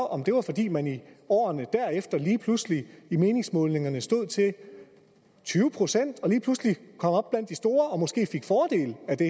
om det var fordi man i årene derefter lige pludselig i meningsmålingerne stod til tyve procent og lige pludselig kom op blandt de store og måske fik fordel af det